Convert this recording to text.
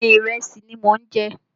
Bẹ́ẹ̀ni, ìrẹsì ni mò ń jẹ